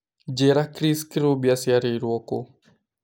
njĩira Chris Kirubi acĩarirwo kũ?